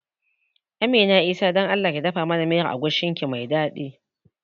Amina Isah don Allah dafa mana miyar agushin ki mai daɗi